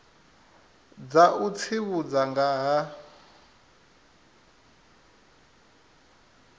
dza u tsivhudza nga ha